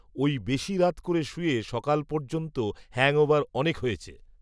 ওই বেশি রাত করে শুয়ে সকাল পর্যন্ত হ্যাংওভার অনেক হয়েছে